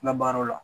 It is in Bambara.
N ka baaraw la